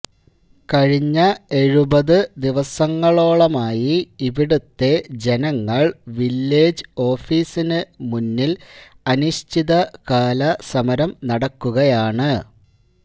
കഴിഞ്ഞ എഴുപത് ദിവസങ്ങളോളമായി ഇവിടുത്തെ ജനങ്ങൾ വില്ലേജ് ഓഫീസിന് മുന്നിൽ അനിശ്ചിത കാല സമരം നടക്കുകയാണ്